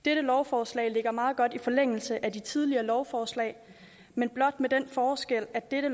dette lovforslag ligger meget godt i forlængelse af de tidligere lovforslag men blot med den forskel at dette